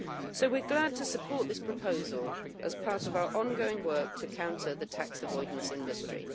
So we are glad to support this proposal as part of our ongoing work to counter the tax avoidance industry.